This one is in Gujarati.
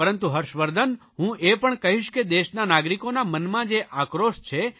પરંતુ હર્ષવર્ધન હું એ પણ કહીશ કે દેશના નાગરિકોના મનમાં જે આક્રોશ છે